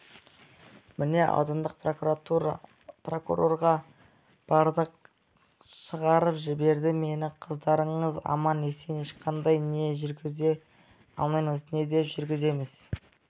міне аудандық прокурорға бардық шығарып жіберді мені қыздарыңыз аман-есен ешқандай не жүргізе алмаймыз не деп жүргіземіз